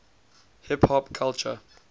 hip hop culture